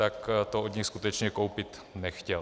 Tak to od nich skutečně koupit nechtěl.